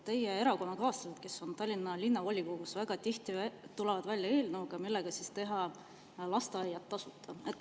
Teie erakonnakaaslased, kes on Tallinna Linnavolikogus, tulevad väga tihti välja eelnõuga, millega teha tasuta lasteaiad.